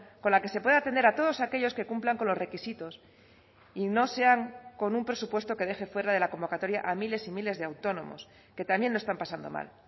con la que se pueda atender a todos aquellos que cumplan con los requisitos y no sean con un presupuesto que deje fuera de la convocatoria a miles y miles de autónomos que también lo están pasando mal